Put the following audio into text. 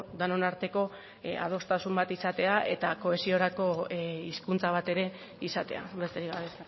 denon arteko adostasun bat izatea eta kohesiorako hizkuntza bat ere izatea besterik gabe